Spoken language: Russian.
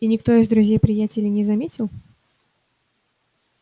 и никто из друзей-приятелей не заметил